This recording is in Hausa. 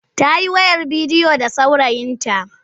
Ta yi wayar bidiyo da saurayinta.